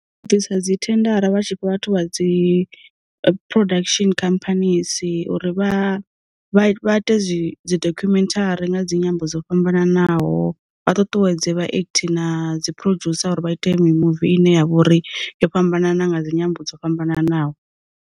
U bvisa dzi thendara vha tshifha vhathu vha dzi production khamphanisi uri vha vha ite dzi dzi dokhumenthari nga dzi nyimbo dzo fhambananaho, vha tutuwedze vha ekthi na dzi producer uri vha ite mi muvi ine ya vha uri yo fhambanana nga dzi nyimbo dzo fhambananaho.